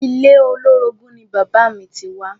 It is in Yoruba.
Ilé olórogún ni bàbáà mi ti wá.